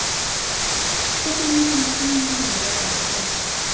syttini tusen ni hundre og åtti